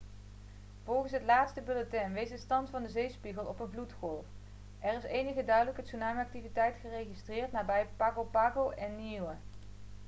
volgens het laatste bulletin wees de stand van de zeespiegel op een vloedgolf er is enige duidelijke tsunami-activiteit geregistreerd nabij pago pago en niue